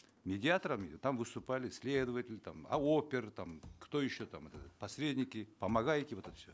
медиаторами там выступали следователь там а опер там кто еще там этот посредники помогайки вот это все